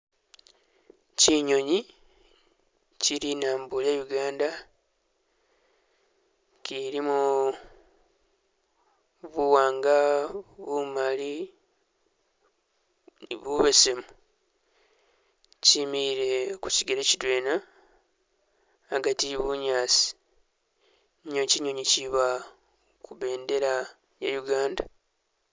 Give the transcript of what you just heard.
Kyinyonyi kye linambo lya Uganda kyilimo buwanga, bumali ni bubesemu kyimile kukyigele kidwena agati e bunyaasi niyo ki nyonyi kyiba ku bendela ya Uganda